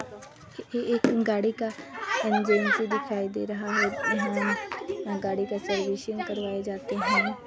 ये एक गाड़ी का एजेंसी दिखाई दे रहा है यहाँ गाड़ी का सर्विसिंग करवाये जाते है।